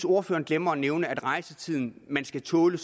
ordføreren glemmer at nævne at rejsetiden man skal tåle